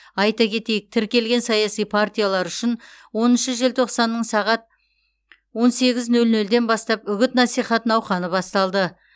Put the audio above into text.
айта кетейік тіркелген саяси партиялар үшін оныншы желтоқсанның сағат он сегіз нөл нөлден бастап үгіт насихат науқаны басталды